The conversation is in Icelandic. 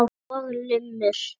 Og lummur.